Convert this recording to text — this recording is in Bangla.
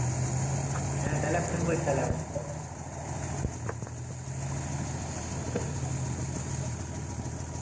হ্যাঁ তাহলে phone করিস তাহলে আবার।